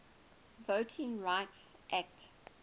voting rights act